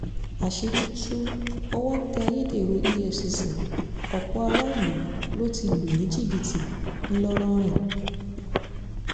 àṣírí tu owó tẹ́ ayédèrú efcc ọ̀pọ̀ aráàlú ló ti lù ní jìbìtì ńlọrọin